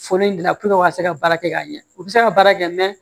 Foli in dilan puruke u ka se ka se ka baara kɛ ka ɲɛ u bɛ se ka baara kɛ mɛ